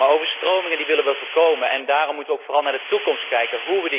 Overstromingen willen we voorkomen, en daarom moeten we vooral naar de toekomst kijken.